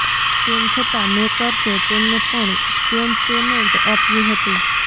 તેમ છતાં મેકર્સે તેમને પણ સેમ પેમેન્ટ આપ્યું હતું